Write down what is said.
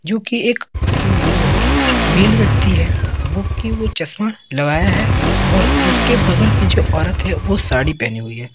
जो कि एक जो अह मेल व्यक्ति है वो कि वो चश्मा लगाया है और उसके बगल में जो औरत है वो साड़ी पहनी हुई है।